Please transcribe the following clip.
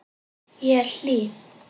Ég er hlý.